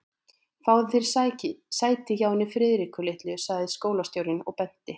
Fáðu þér sæti hjá henni Friðriku litlu sagði skólastjórinn og benti